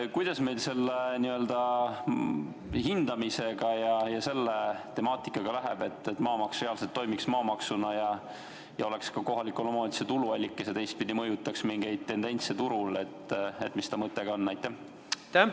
Kuidas meil selle hindamisega läheb ja üldse selle temaatikaga, et maamaks reaalselt toimiks maamaksuna, oleks kohalike omavalitsuste tuluallikas ja teistpidi mõjutaks mingeid tendentse turul, nagu tema mõte on?